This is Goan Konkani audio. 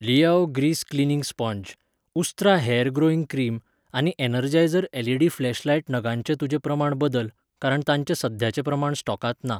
लियाओ ग्रीस क्लीनिंग स्पोंज, उस्त्रा हेयर ग्रोइंग क्रीम आनी एनर्जायझर एलईडी फ्लॅशलायट नगांचें तुजें प्रमाण बदल, कारण तांचें सद्याचें प्रमाण स्टॉकांत ना.